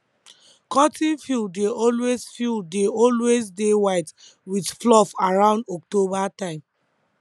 cotton field dey always field dey always dey white with fluff around october time